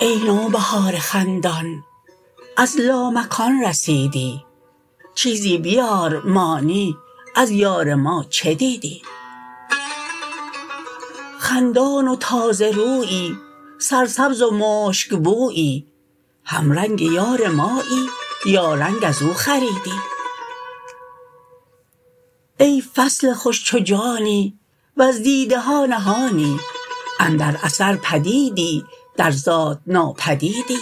ای نوبهار خندان از لامکان رسیدی چیزی بیار مانی از یار ما چه دیدی خندان و تازه رویی سرسبز و مشک بویی همرنگ یار مایی یا رنگ از او خریدی ای فضل خوش چو جانی وز دیده ها نهانی اندر اثر پدیدی در ذات ناپدیدی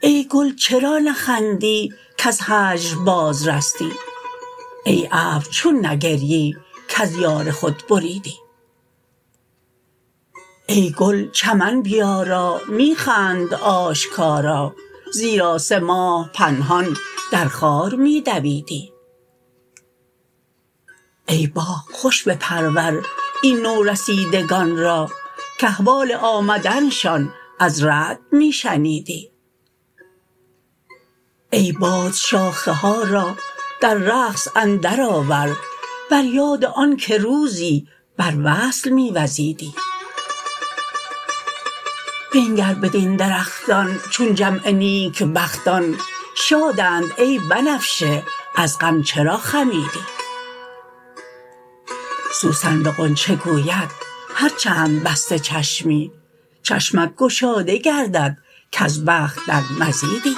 ای گل چرا نخندی کز هجر بازرستی ای ابر چون نگریی کز یار خود بریدی ای گل چمن بیارا می خند آشکارا زیرا سه ماه پنهان در خار می دویدی ای باغ خوش بپرور این نورسیدگان را کاحوال آمدنشان از رعد می شنیدی ای باد شاخه ها را در رقص اندرآور بر یاد آن که روزی بر وصل می وزیدی بنگر بدین درختان چون جمع نیکبختان شادند ای بنفشه از غم چرا خمیدی سوسن به غنچه گوید هر چند بسته چشمی چشمت گشاده گردد کز بخت در مزیدی